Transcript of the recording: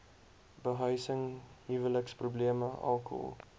behuising huweliksprobleme alkohol